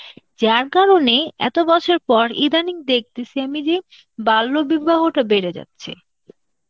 যার কারনে এত বছর পর ইদানিং দেখতেসি আমি যে বাল্য বিবাহটা বেড়ে যাচ্ছে